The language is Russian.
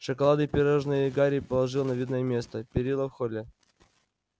шоколадные пирожные гарри положил на видное место перила в холле